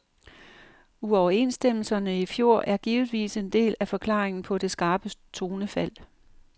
Uoverenstemmelserne i fjor er givetvis en del af forklaringen på det skarpe tonefald.